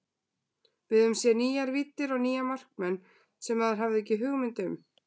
Við höfum séð nýjar víddir og nýja markmenn sem maður hafði ekki hugmynd um.